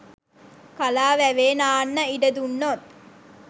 කලා වැවේ නාන්න ඉඩ දුන්නොත්